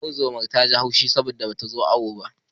Unguwar zoman ta ji haushin ta saboda bata zo awo ba.